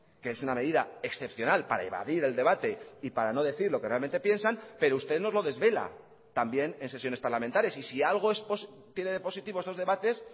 que es una medida excepcional para evadir el debate y para no decir lo que realmente piensan pero usted nos lo desvela también en sesiones parlamentarias y si algo tiene de positivo estos debates